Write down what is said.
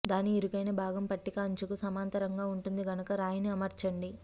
దాని ఇరుకైన భాగం పట్టిక అంచుకు సమాంతరంగా ఉంటుంది కనుక రాయిని అమర్చండి